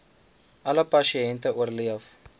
alle pasiënte oorleef